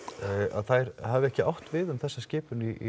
að þær hafi ekki átt við um þessa skipun í